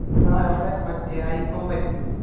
ആഹ് ഞമ്മളെ മറ്റേ അരിക്കൊമ്പൻ